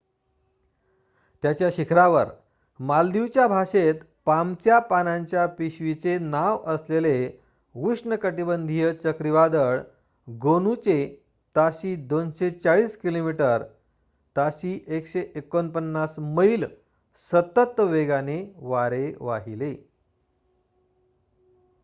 त्याच्या शिखरावर मालदीवच्या भाषेत पामच्या पानांच्या पिशवीचे नाव असलेले उष्णकटिबंधीय चक्रीवादळ गोनूचे ताशी 240 किलोमीटर ताशी 149 मैल सतत वेगाने वारे वाहिले